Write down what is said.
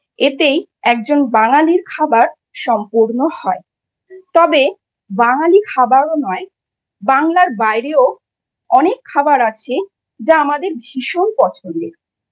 এতেই একজন বাঙালির খাবার সম্পূর্ণ হয়। তবে বাঙালি খাবারও নয়, বাংলার বাইরেও অনেক খাবার আছে, যা আমাদের ভীষণ পছন্দের।